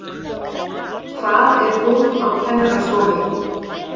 Hvað er hún á kennarastofu?